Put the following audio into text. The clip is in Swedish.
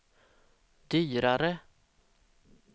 dyrare